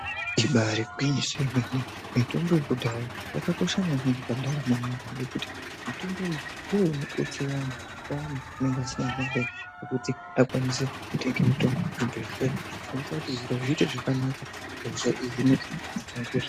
Ibaari gwinyiso yemene, mitombo yekudhaya yakakosha maningi pandaramo yemuntu nekuti mitombo iyi inodetsera vantu payani pokuti akwanise kutenge mutombo kuchibhehleya kuitira kuti hosha ihinike, zviro zviite zvakanaka